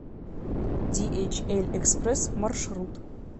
диэйчэль экспресс маршрут